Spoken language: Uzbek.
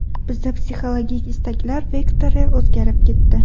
Bizda psixologik istaklar vektori o‘zgarib ketdi.